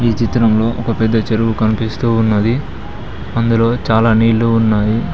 ఈ చిత్రంలో ఒక పెద్ద చెరువు కనిపిస్తూ ఉన్నది అందులో చాలా నీళ్ళు ఉన్నాయి.